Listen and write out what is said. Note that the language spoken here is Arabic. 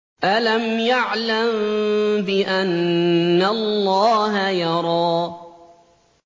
أَلَمْ يَعْلَم بِأَنَّ اللَّهَ يَرَىٰ